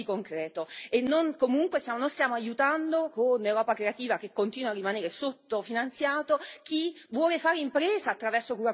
Comunque noi stiamo aiutando, con Europa creativa che continua a rimanere sottofinanziato, chi vuole fare impresa attraverso la cultura e la creatività.